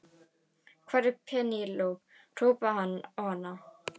Hvar er Penélope, hrópaði hann á hana.